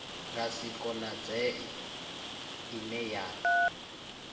nga si konadzee ine ya